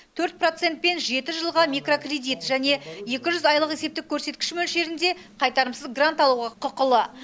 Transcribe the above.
төрт процентпен жеті жылға микрокредит және екі жүз айлық есептік көрсеткіш мөлшерінде қайтарымсыз грант алуға құқылы